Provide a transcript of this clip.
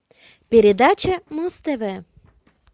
передача муз тв